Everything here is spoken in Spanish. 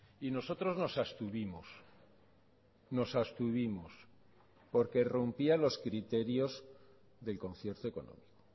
y nosotros nos abstuvimos nos abstuvimos porque rompía los criterios del concierto económico